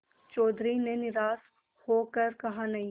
चौधरी ने निराश हो कर कहानहीं